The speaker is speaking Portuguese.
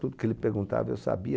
Tudo que ele perguntava eu sabia.